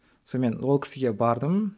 сонымен ол кісіге бардым